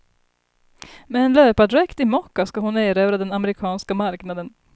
Med en löpardräkt i mocka ska hon erövra den amerikanska marknaden.